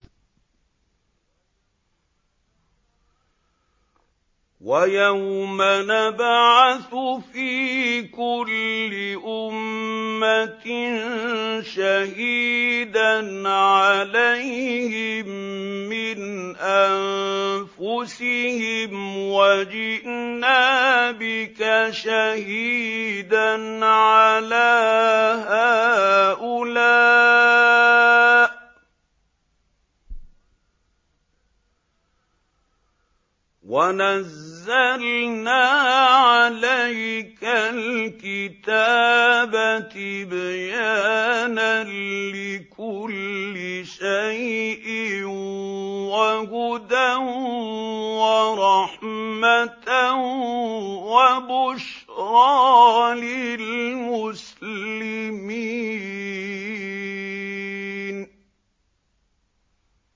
وَيَوْمَ نَبْعَثُ فِي كُلِّ أُمَّةٍ شَهِيدًا عَلَيْهِم مِّنْ أَنفُسِهِمْ ۖ وَجِئْنَا بِكَ شَهِيدًا عَلَىٰ هَٰؤُلَاءِ ۚ وَنَزَّلْنَا عَلَيْكَ الْكِتَابَ تِبْيَانًا لِّكُلِّ شَيْءٍ وَهُدًى وَرَحْمَةً وَبُشْرَىٰ لِلْمُسْلِمِينَ